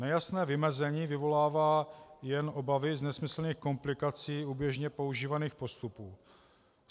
Nejasné vymezení vyvolává jen obavy z nesmyslných komplikací u běžně používaných postupů.